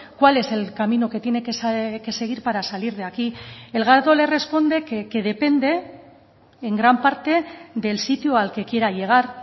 cuál es el camino que tiene que seguir para salir de aquí el gato le responde que depende en gran parte del sitio al que quiera llegar